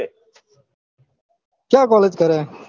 ક્યાં collage કરે